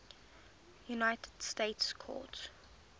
united states court